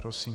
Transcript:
Prosím.